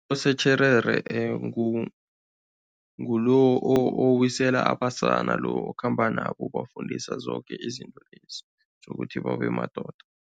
Abosotjherere ngulo owisela abasana lo okhamba nabo, ubafundisa zoke izinto lezi tjhukuthi babe madoda.